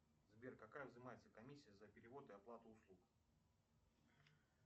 сбер какая взимается комиссия за перевод и оплату услуг